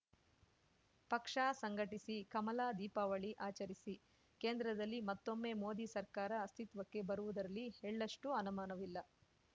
ಪಕ್ಷ ಸಂಘಟಿಸಿಕಮಲ ದೀಪಾವಳಿ ಆಚರಿಸಿ ಕೇಂದ್ರದಲ್ಲಿ ಮತ್ತೊಮ್ಮೆ ಮೋದಿ ಸರ್ಕಾರ ಅಸ್ತಿತ್ವಕ್ಕೆ ಬರುವುದರಲ್ಲಿ ಎಳ್ಳಷ್ಟೂಅನುಮಾನವಿಲ್ಲ